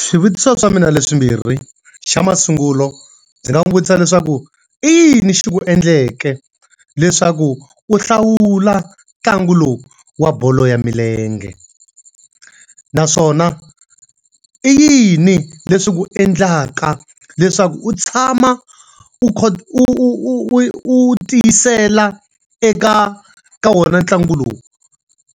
Swivutiso swa mina hi leswimbirhi. Xa masungulo ndzi nga n'wi vutisa leswaku, i yin xi ku endleke leswaku u hlawula ntlangu lowu wa bolo ya milenge? Naswona i yini leswi ku endlaka leswaku u tshama u u u u u tiyisela eka ka wona ntlangu lowu?